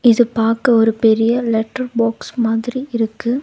இது பாக்க ஒரு பெரிய லெட்டர் பாக்ஸ் மாதிரி இருக்கு.